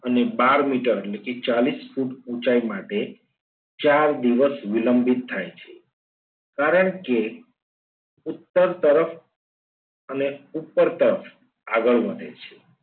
અને બાર મીટર એટલે કે ચાલીસ ફૂટ ઊંચાઈ માટે ચાર દિવસ વિલંબિત થાય છે કારણ કે ઉત્તર તર અને ઉપર તરફ આગળ વધે છે.